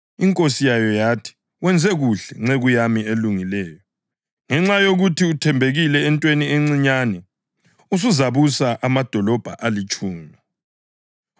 Inkosi yayo yathi, ‘Wenze kuhle, nceku yami elungileyo! Ngenxa yokuthi uthembekile entweni encinyane, usuzabusa amadolobho alitshumi.’